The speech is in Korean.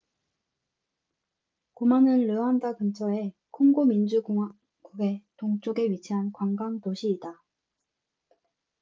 고마는 르완다 근처에 콩고 민주 공화국의 동쪽에 위치한 관광 도시이다